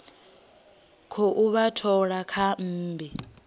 khou vha thola kha mmbi